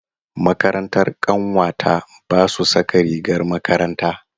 Makarantar ƙanwata ba su saka rigar makaranta.